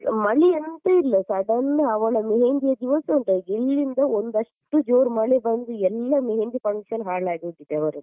ಮಳೆ ಎಂತ ಇಲ್ಲ sudden ಅವಳ मेहंदी ಯ ದಿವಸ ಉಂಟ ಒಂದಷ್ಟು ಜೋರ್ ಮಳೆ ಬಂದು ಎಲ್ಲ मेहंदी function ಹಾಳಾಗಿ ಹೋಗಿದೆ ಅವರದ್ದು.